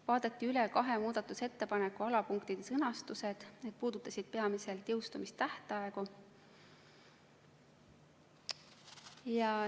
Vaadati üle kahe muudatusettepaneku alapunktide sõnastused, need puudutasid peamiselt jõustumistähtaegu.